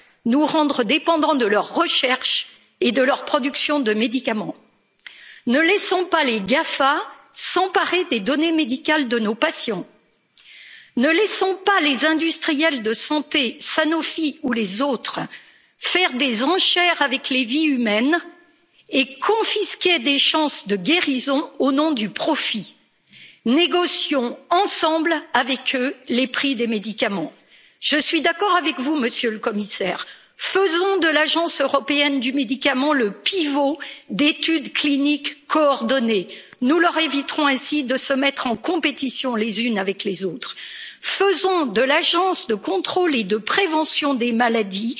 nous rendre dépendants de leur recherche et de leur production de médicaments. Ne laissons pas les GAFAM s'emparer des données médicales de nos patients. Ne laissons pas les industriels de la santé, Sanofi ou autres, faire des enchères avec les vies humaines et confisquer des chances de guérison au nom du profit. Négocions, ensemble, avec eux les prix des médicaments. Je suis d'accord avec vous, Monsieur le Commissaire, faisons de l'Agence européenne du médicament le pivot d'études cliniques coordonnées. Nous leur éviterons ainsi de se mettre en compétition les unes avec les autres. Faisons de l'Agence de contrôle et de prévention des